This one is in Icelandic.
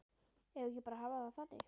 Eigum við ekki bara að hafa það þannig?